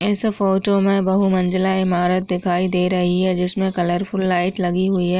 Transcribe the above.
इस फोटो मे बहु मंजले इमारत दिखाई दे रही है जिसमे कलरफुल लाइट लगी हुई है।